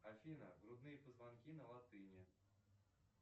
афина грудные позвонки на латыни